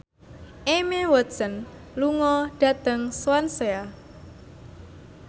Emma Watson lunga dhateng Swansea